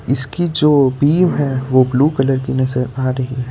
इसकी जो बीम है जो ब्लू कलर की नजर आ रही है।